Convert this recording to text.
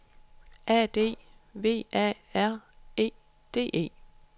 A D V A R E D E